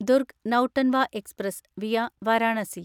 Durg Nautanwa express (via Varanasi)